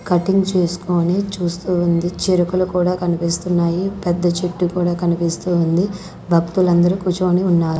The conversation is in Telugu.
కటింగ్ చేసుకొని చూస్తూ ఉంది చిరుకలు కూడా కనిపిస్తున్నాయి పెద్ద చెట్టు కూడా కనిపిస్తూ ఉంది భక్తులందరూ కూర్చొని ఉన్నారు.